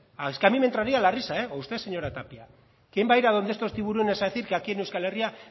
es que a mí me entraría la risa o usted señora tapia quién va a ir a donde estos tiburones a decir que aquí en euskal herria